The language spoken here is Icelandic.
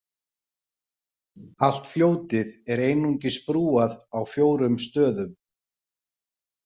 Allt fljótið er einungis brúað á fjórum stöðum.